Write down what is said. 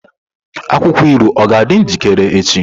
Akwụkwọ ilu ọ ga-adị njikere echi?